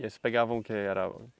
E aí vocês pegavam o que? Era